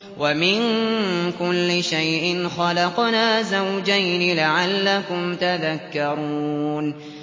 وَمِن كُلِّ شَيْءٍ خَلَقْنَا زَوْجَيْنِ لَعَلَّكُمْ تَذَكَّرُونَ